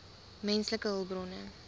menslike hulpbronne